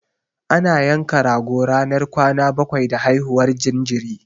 Ana yanka rago ranar kwana bakwai da haihuwar jinjiri.